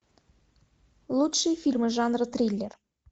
лучшие фильмы жанра триллер